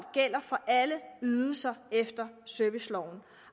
gælder for alle ydelser efter serviceloven